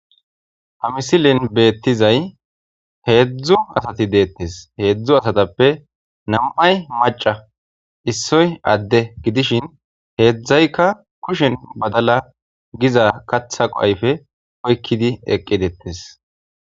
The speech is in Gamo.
Ha misilen beettizay heedzdzu asati deettes heedzdzu asatappe nam7ay maca issoy adde gidishin heedzdzaykka kushen badala giza katha qoayfe oykkidi eqqidettes.